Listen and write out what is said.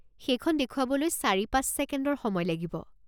সেইখন দেখুৱাবলৈ চাৰি পাঁচ ছেকেণ্ডৰ সময় লাগিব।